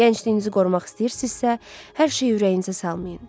Gəncliyinizi qorumaq istəyirsinizsə, hər şeyi ürəyinizə salmayın.